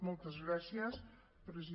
moltes gràcies presidenta